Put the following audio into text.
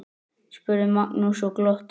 spurði Magnús og glotti.